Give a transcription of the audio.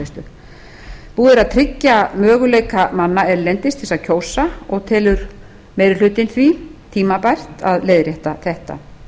búið er að tryggja möguleika manna erlendis til að kjósa og telur meiri hlutinn því tímabært að leiðrétta þetta